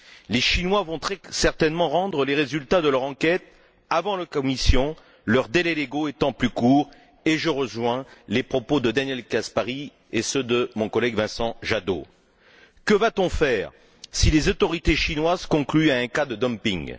Les Chinois vont très certainement rendre les résultats de leur enquête avant la Commission leurs délais légaux étant plus courts et je rejoins les propos de Daniel Caspary et ceux de mon collègue Vincent Jadot, qui posent la question suivante que va t on faire si les autorités chinoises concluent à un cas de dumping?